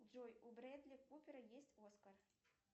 джой у брэдли купера есть оскар